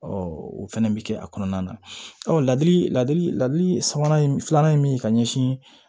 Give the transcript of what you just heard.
o fɛnɛ bɛ kɛ a kɔnɔna na ɔ ladili lali sabanan ye filanan ye min ye ka ɲɛsin